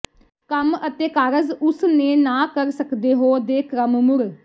ਕੰਮ ਅਤੇ ਕਾਰਜ ਉਸ ਨੇ ਨਾ ਕਰ ਸਕਦੇ ਹੋ ਦੇ ਕ੍ਰਮ ਮੁੜ